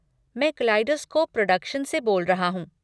मैं kaleidoscope production से बोल रहा हूँ।